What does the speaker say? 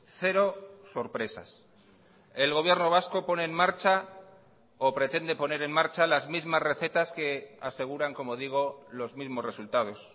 cero sorpresas el gobierno vasco pone en marcha o pretende poner en marcha las mismas recetas que aseguran como digo los mismos resultados